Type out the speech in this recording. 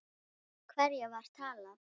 Við hverja var talað?